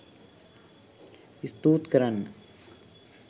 ස්තූත් කරන්න.